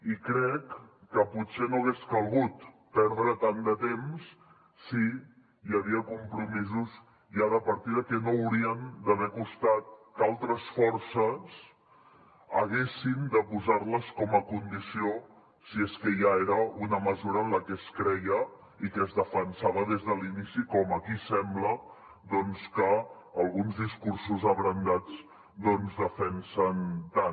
i crec que potser no hagués calgut perdre tant de temps si hi havia compromisos ja de partida que no haurien d’haver costat que altres forces haguessin de posar les com a condició si és que ja era una mesura en la que es creia i que es defensava des de l’inici com aquí sembla doncs que alguns discursos abrandats doncs defensen tant